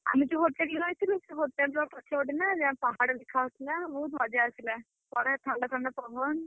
ଆମେ ଯୋଉ hotel ରେ ରହିଥିଲୁ, ସେ hotel ର ପଛପଟେ ନା ପାହାଡ ଦେଖାଯାଉଥିଲା। ବହୁତ୍ ମଜା ଆସିଲା। ବଢିଆ ଥଣ୍ଡା ଥଣ୍ଡା ପବନ।